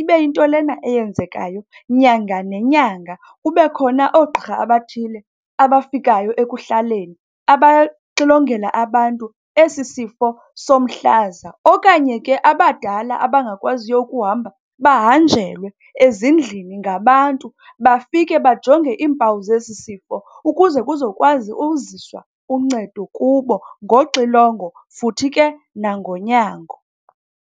ibe yinto lena enyenzekayo nyanga nenyanga. Kube khona oogqirha abathile abafikayo ekuhlaleni abaxilongela abantu esi sifo somhlaza. Okanye ke abadala abangakwaziyo ukuhamba, bahanjelwe ezindlini ngabantu, bafike bajonge iimpawu zesi sifo ukuze kuzokwazi uziswa uncedo kubo ngoxilongo futhi ke nangonyango.